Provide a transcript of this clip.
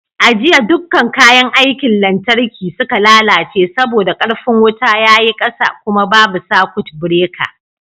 A jiya dukkan kayan aikin lantarki suka lalace saboda ƙarfin wuta ya yi ƙasa kuma babu sakut bireka